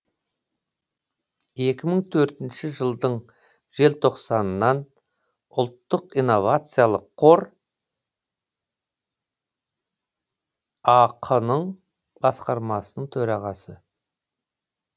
екі мың төртінші жылдың желтоқсанынан ұлттық инновациялық қор ақ ның басқармасының төрағасы